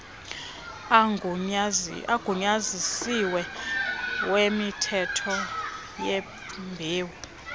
agunyazisiweyo wemithwalo yembewu